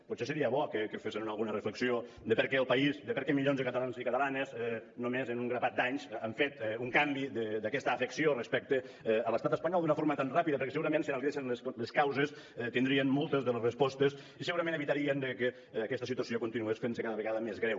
potser seria bo que fessen alguna reflexió de per què el país de per què milions de catalans i catalanes només en un grapat d’anys han fet un canvi d’aquesta afecció respecte a l’estat espanyol d’una forma tan ràpida perquè segurament si analitzessin les causes tindrien moltes de les respostes i segurament evitarien que aquesta situació continués fent se cada vegada més greu